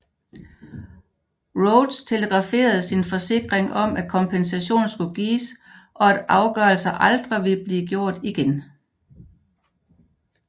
Rhodes telegraferede sin forsikring om at kompensation skulle gives og at afgørelser aldrig ville blive gjort igen